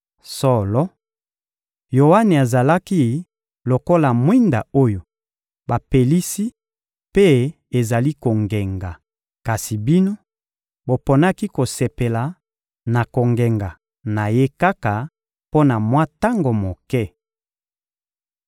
Solo, Yoane azalaki lokola mwinda oyo bapelisi mpe ezali kongenga. Kasi bino, boponaki kosepela na kongenga na ye kaka mpo na mwa tango moke.